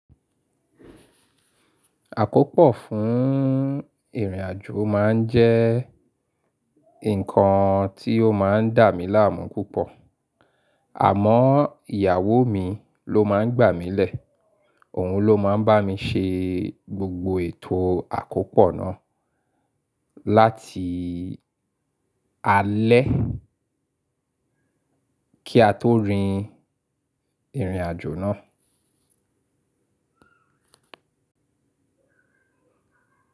Àkópọ̀ fún ìrìnàjò máa ń jẹ́ nǹkan tí ó máa ń dà mí láàmú púpọ̀. Àmọ́, ìyàwó mi ló máa ń gbà mílẹ̀, òun ló máa ń bá mi ṣe gbogbo ètò àkópọ̀ náà láti alẹ́ kí a tó rin ìrìnàjò náà.